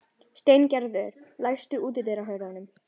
Steingerður, læstu útidyrunum.